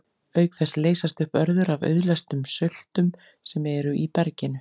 Auk þess leysast upp örður af auðleystum söltum sem eru í berginu.